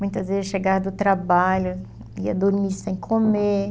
Muitas vezes chegava do trabalho, ia dormir sem comer.